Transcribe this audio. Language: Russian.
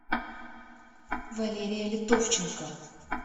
валерия литовченко